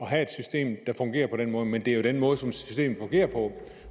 have et system der fungerer på den måde men det er jo den måde som systemet fungerer på